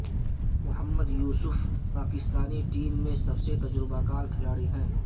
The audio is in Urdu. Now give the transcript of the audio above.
محمد یوسف پاکستان ٹیم میں سب سے تجربہ کار کھلاڑی ہیں